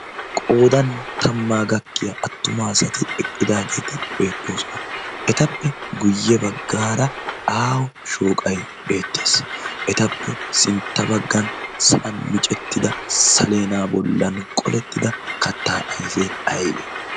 qoodan tammaa gakkiya attumaa sati eqqidaageeti beettoosona .etappe guyye baggaara aawo shooqai beettees. etappe sintta baggan san micettida saleena bollan qolettida kattaa aifee aibe?